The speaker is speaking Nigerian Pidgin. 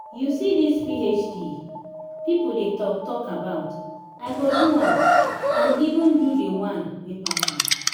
you see dis phd people dey talk talk about i go do am and even do the one wey pass am